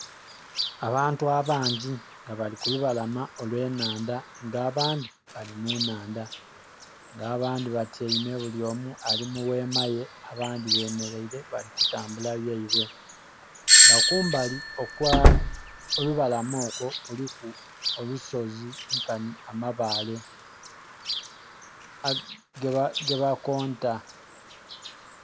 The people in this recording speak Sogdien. Abantu abangi nga bali ku lubalama olwe nhandha nga abantu bali mu nhandha, nga abandhi batyaime bulyomu ali mu ghema ye abandhi bemereire bali kutambula byaibwe nga kumbali okwo lubalama okwo kuliku olusozi nkanhi amabale geba konta.